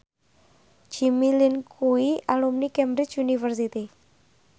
Jimmy Lin kuwi alumni Cambridge University